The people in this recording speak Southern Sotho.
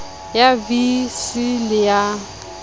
ya vii c le ya